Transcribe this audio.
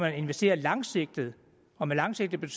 investerer langsigtet og med langsigtet